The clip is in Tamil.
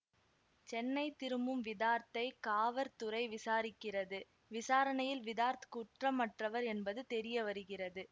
சென்னை திரும்பும் விதார்த்தைக் காவற்துறை விசாரிக்கிறது விசாரணையில் விதார்த் குற்றமற்றவர் என்பது தெரிய வருகிறது